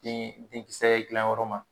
Den denkisɛ gilan yɔrɔ ma